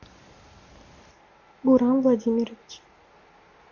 гурам владимирович